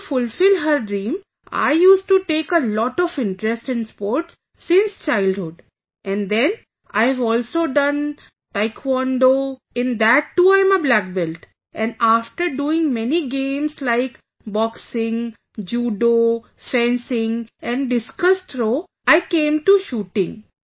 So to fulfil her dream, I used to take a lot of interest in sports since childhood and then I have also done Taekwondo, in that too, I am a black belt, and after doing many games like Boxing, Judo, fencing and discus throw, I came to shooting